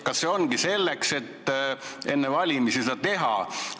Kas see ongi selleks, et enne valimis seda näidata?